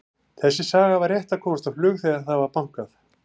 Þessi saga var rétt að komast á flug þegar það var bankað.